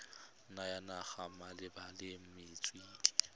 ya naga malebana le metswedi